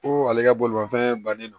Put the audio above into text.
Ko ale ka bolimafɛn bannen don